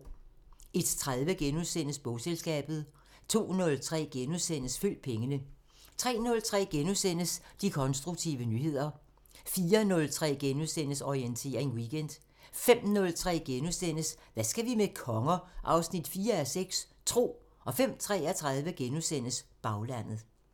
01:30: Bogselskabet * 02:03: Følg pengene * 03:03: De konstruktive nyheder * 04:03: Orientering Weekend * 05:03: Hvad skal vi med konger? 4:6 – Tro * 05:33: Baglandet *